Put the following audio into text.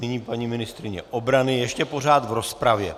Nyní paní ministryně obrany ještě pořád v rozpravě.